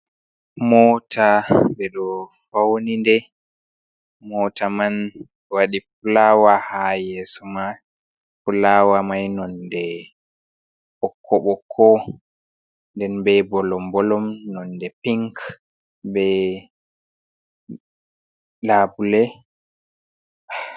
Mota ɓeɗo fauni nde mota man waɗi fulawa ha yeso mai fulawa mai nonde ɓoƙko-ɓoƙko nden be bolom-bolom non nde pink be labule.